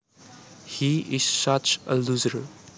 He is such a loser